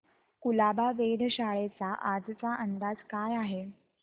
कुलाबा वेधशाळेचा आजचा अंदाज काय आहे